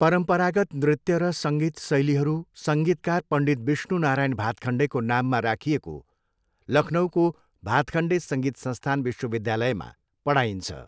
परम्परागत नृत्य र सङ्गीत शैलीहरू सङ्गीतकार पण्डित विष्णु नारायण भातखन्डेको नाममा राखिएको लखनऊको भातखन्डे सङ्गीत संस्थान विश्वविद्यालयमा पढाइन्छ।